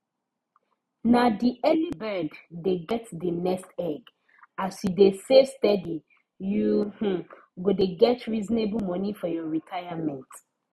na the early bird dey get the nest egg as you dey save steady you um go dey get reasonable moni for your retirement